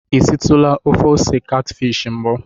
I sitụla ofe ose katfishi mbụ?